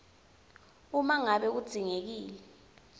uma ngabe kudzingekile